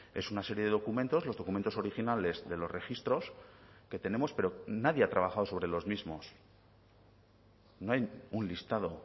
es una serie de documentos los documentos originales de los registros que tenemos pero nadie ha trabajado sobre los mismos no hay un listado